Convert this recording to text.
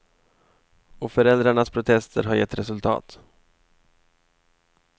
Och föräldrarnas protester har gett resultat.